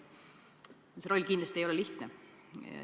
See roll ei ole kindlasti lihtne.